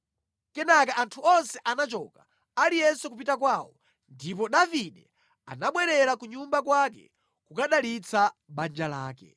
Kenaka anthu onse anachoka, aliyense kupita kwawo. Ndipo Davide anabwerera ku nyumba kwake kukadalitsa banja lake.